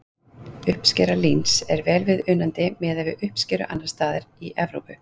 uppskera líns er vel viðunandi miðað við uppskeru annars staðar í evrópu